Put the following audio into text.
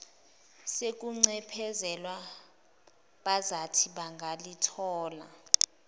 sokuncephezelwa bazathi bangalithola